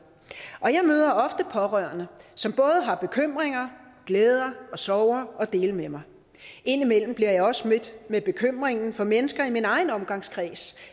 møder ofte pårørende som både har bekymringer glæder og sorger at dele med mig indimellem bliver jeg også mødt med bekymringen fra mennesker i min egen omgangskreds